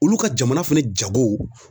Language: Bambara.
Olu ka jamana fɛnɛ jago